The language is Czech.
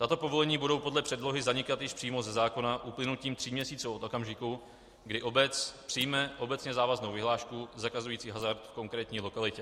Tato povolení budou podle předlohy zanikat již přímo ze zákona uplynutím tří měsíců od okamžiku, kdy obec přijme obecně závaznou vyhlášku zakazující hazard v konkrétní lokalitě.